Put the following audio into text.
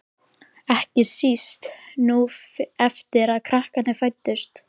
Ekki síst núna eftir að krakkarnir fæddust.